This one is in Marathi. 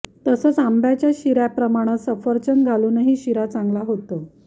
तसंच आंब्याच्या शिऱ्याप्रमाणं सफरचंद घालूनही शिरा चांगला होतो